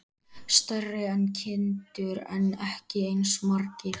Stærri en kindur en ekki eins margir.